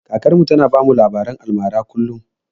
Kakar mu ta na bamu labaren almara kullum